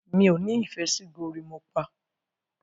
mi'o ní ìfẹ sí gorimopa.